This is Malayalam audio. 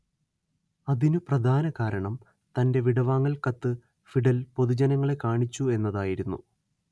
അതിനു പ്രധാനകാരണം തന്റെ വിടവാങ്ങൽ കത്ത് ഫിഡൽ പൊതുജനങ്ങളെ കാണിച്ചു എന്നതായിരുന്നു